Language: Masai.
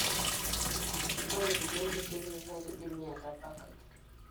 Ore kulie leukemia na kidimi atabak.